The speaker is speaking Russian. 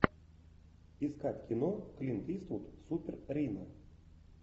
искать кино клинт иствуд супер рино